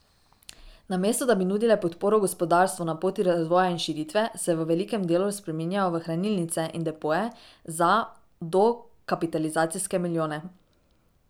Namesto da bi nudile podporo gospodarstvu na poti razvoja in širitve, se v velikem delu spreminjajo v hranilnice in depoje za dokapitalizacijske milijone.